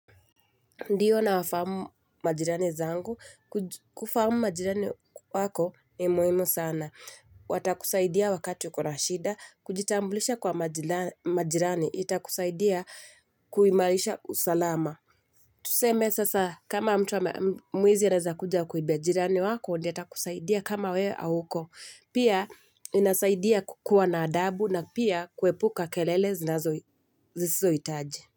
Ndiyo na wafamu majirani zangu, kuju kufamu majirani wako ni muhimu sana. Watakusaidia wakati uko na shida, kujitambulisha kwa maji majirani, itakusaidia kuimarisha usalama. Tuseme sasa kama mtu ame mwizi aneza kuja akuibe jirani wako, ndie atakusaidia kama wee auko. Pia inasaidia kukuwa na adabu na pia kuepuka kelele zinazo zisisohitaji.